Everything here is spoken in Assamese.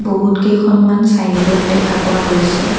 বহুত কেইখনমান ছাইনবোৰ্ড দেখা পোৱা গৈছে।